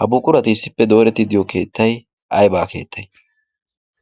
Ha buquray issippe doorettidi diyo keettay aybaa keettay?